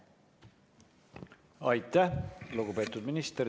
Aitäh, lugupeetud minister!